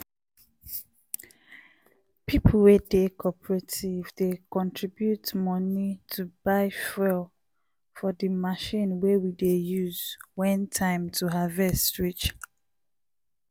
people wey dey cooperative dey contribute money to buy fuel for di machine wey we dey use when time to harvest reach.